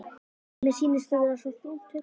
Mér sýnist þú vera svo þungt hugsi.